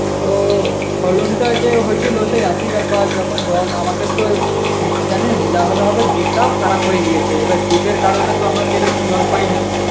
তো ফলনটা যে হয়েছিল সেই একই ব্যাপার যখন জল আমাদের তো উম জানিস deep টাও খারাপ হয়ে গিয়েছে, এবার deep এর কারনে তো আমরা সেরকম জল পাইনি